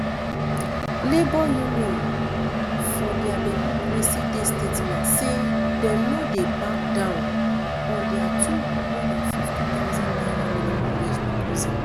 labour unions for dia democracy day statement say dem no dey back down on dia two hundred and fifty thousand naira new minimum wage proposal